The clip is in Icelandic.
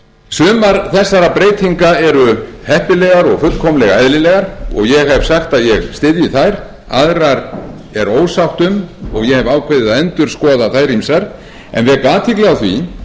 sumar þessara breytinga eru heppilegar og fullkomlega eðlilegar og ég hef sagt að ég styðji þær aðrar er ósátt um og ég hef ákveðið að endurskoða þær ýmsar en vek athygli á því